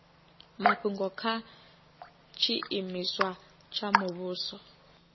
mafhungo kha tshiimiswa tsha muvhuso